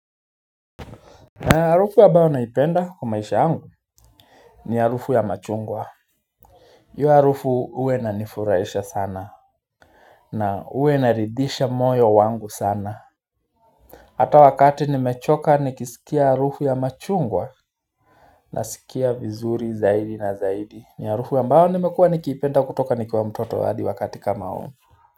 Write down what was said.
Harufu ambayo naipenda kumaisha yangu ni harufu ya machungwa hiyo harufu huwa inanifurahisha sana na huwa inaridhisha moyo wangu sana Hata wakati nimechoka nikisikia harufu ya machungwa Nasikia vizuri zaidi na zaidi ni harufu ambayo nimekuwa nikiipenda kutoka nikiwa mtoto hadi wakati kama huu.